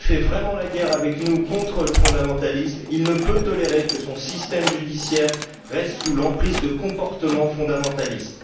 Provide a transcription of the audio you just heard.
S'il fait vraiment la guerre avec nous contre le fondamentalisme, il ne peut tolérer que son système judiciaire reste sous l'emprise de comportements fondamentalistes.